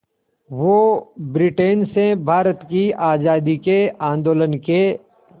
वो ब्रिटेन से भारत की आज़ादी के आंदोलन के